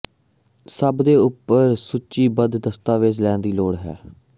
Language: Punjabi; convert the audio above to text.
ਸਭ ਦੇ ਉੱਪਰ ਸੂਚੀਬੱਧ ਦਸਤਾਵੇਜ਼ ਲੈਣ ਦੀ ਲੋੜ ਹੈ